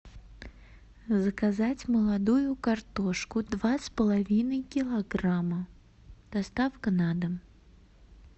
заказать молодую картошку два с половиной килограмма доставка на дом